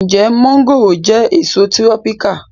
Ǹjẹ́ mọ́ngòròjẹ́ èso tírọ́píkà